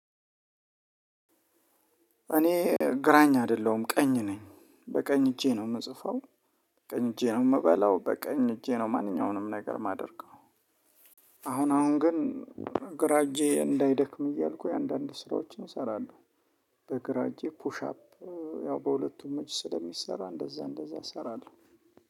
እኔ ግራኝ አይደለሁም ቀኝ ነኝ በቀኝ እጄ ነው የምጽፈው ቀኝ እጄ ነው የምበላው በቀኝ እጄ ነው ማንኛውንም ነገር የማደርገው። አሁን አሁን ግን ግራእጀ እንዳይደክም እያልኩኝ አንዳንድ ስራወቺን እሰራለሁ። በግራእጀ ፑሻፕ። ያው በሁለቱም እጂ ስለሚሰራ።